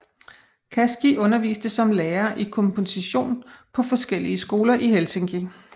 Kaski underviste som lærer i komposition på forskellige skoler i Helsinki